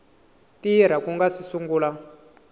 tirha ku nga si sungula